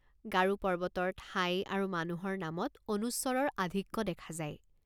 গাৰো পৰ্বতৰ ঠাই আৰু মানুহৰ নামত অনুস্বৰৰ আধিক্য দেখা যায়।